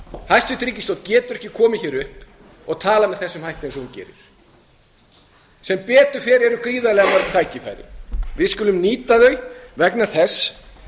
hæstvirt ríkisstjórn getur ekki komið hér upp og talað með þessum hætti eins og hún gerir sem betur fer eru gríðarlega mörg tækifæri við skulum nýta þau vegna þess